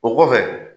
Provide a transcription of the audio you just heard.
O kɔfɛ